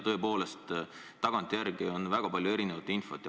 Tõepoolest, tagantjärele tarkusena on tulnud väga palju erinevat infot.